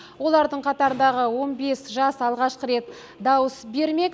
олардың қатарындағы он бес жас алғаш рет дауыс бермек